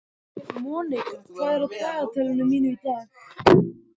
Monika, hvað er á dagatalinu mínu í dag?